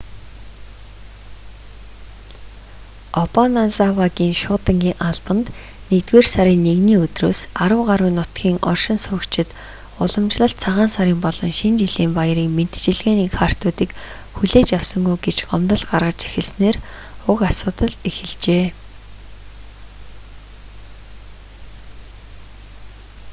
обаназавагийн шуудангийн албанд 1-р сарын 1-ний өдрөөс арав гаруй нутгийн оршин суугчид уламжлалт цагаан сарын болон шинэ жилийн баярын мэндчилгээний картуудыг хүлээж авсангүй гэж гомдол гаргаж эхэлснээр уг асуудал эхэлжээ